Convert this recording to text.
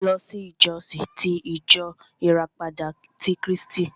Mo lọ sí ìsọjí ti ìjọ ìràpadà ti Krístì.